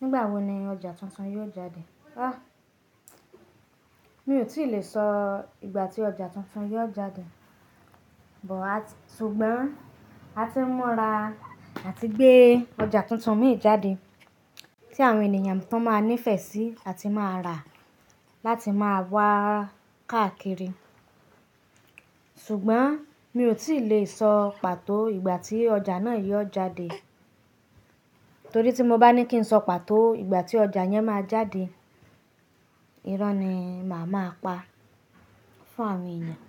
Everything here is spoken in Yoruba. Nígbà wo ni ọjà tuntun yóò jáde? Mi ò tíì le sọ ìgbà tí ọjà tuntun yóò jáde, but, ṣùgbọ́n a ti ń mọra àti gbé ọjà tuntun mì jáde tí àwọn ènìyàn tun máa nífẹ̀ẹ́ sí àti máa rà láti máa wá káàkiri. Ṣùgbọ́n mí ò tíì le sọ pàtó ìgbà tí ọjà náà yóò jáde, torí tí mo bá ní kí n sọ pàtó ìgbà tí ọjà yẹn máa jáde, ìro ni màá máa pa fún àwọn ènìyàn.